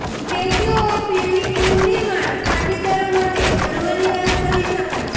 statue of યુનિટીનું નિર્માણ પાટીદારો માટે ગર્વની વાત કહી શકાય